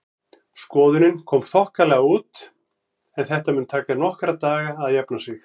Skoðunin kom þokkalega út en þetta mun taka nokkra daga að jafna sig.